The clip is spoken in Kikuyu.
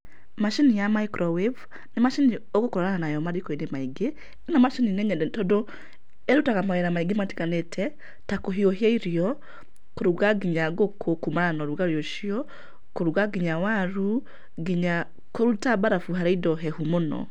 Macini ya microwave, nĩ macini ũgũkorana nayo mariko-inĩ maingĩ, ĩno macini nĩ nyende tondũ ĩrutaga mawĩra maingĩ matiganĩte, ta kũhiũhia irio, kũruga nginya ngũkũ kuumana na ũrugarĩ ũcio, kũruga nginya waru, nginya kũruta mbarabu harĩ indo hehu mũno.